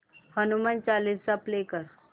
Hanuman Chalisa play कर